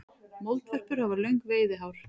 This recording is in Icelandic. Moldvörpur hafa löng veiðihár.